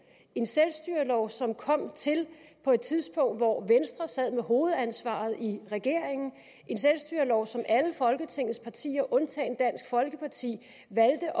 en selvstyrelov som kom til på et tidspunkt hvor venstre sad med hovedansvaret i regeringen en selvstyrelov som alle folketingets partier undtagen dansk folkeparti valgte